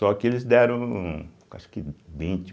Só que eles deram, acho que vinte.